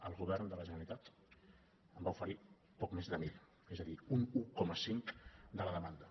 el govern de la generalitat en va oferir poc més de mil és a dir un un coma cinc de la demanda